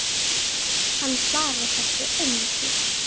Hann svarar þessu engu.